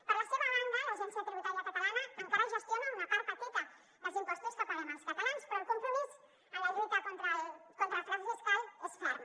per la seva banda l’agència tributària catalana encara gestiona una part petita dels impostos que paguem els catalans però el compromís en la lluita contra el frau fiscal és ferm